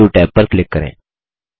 new tab पर click करें